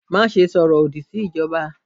Maṣe sọrọ lodi si ijọba!